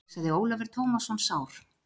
hugsaði Ólafur Tómasson sár.